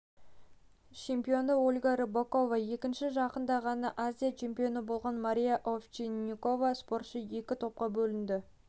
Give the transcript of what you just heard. чемпионы ольга рыпакова екіншісі жақында ғана азия чемпионы болған мария овчинникова спортшы екі топқа бөлінді